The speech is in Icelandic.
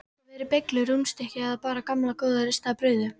Geta verið beyglur, rúnnstykki eða bara gamla góða ristaða brauðið.